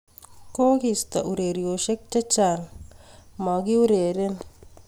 kokiista uroryoshiek chechang makureren